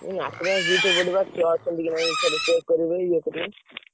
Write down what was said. ହୁଁ attendance ବା ଦି ଥର ପଡେ ଛୁଆ ଅଛନ୍ତିକି ନାହି ଫେରେ check କରିବେ, ଇଏ କରିବେ?